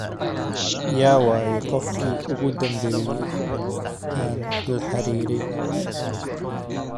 ya wayey qofkii ugu dhambeyay aan la xariirey